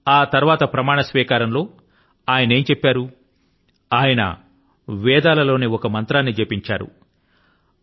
మరి ఆనక ప్రమాణ స్వీకారం లో ఆయనేం చెప్పారు ఆయన వేదాల లోని ఒక మంత్రాన్ని జపించారు